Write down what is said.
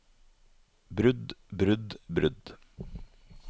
brudd brudd brudd